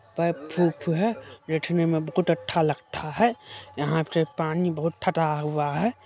प धुप है जिसमें सब कुछ अच्छा लगता है यहाँ से पानी बहुत फटा हुआ है।